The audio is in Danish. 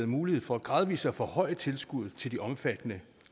mulighed for gradvist at forhøje tilskuddet til de omfattede